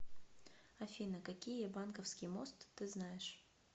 афина какие банковский мост ты знаешь